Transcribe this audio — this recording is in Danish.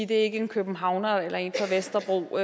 det ikke er en københavner eller en fra vesterbro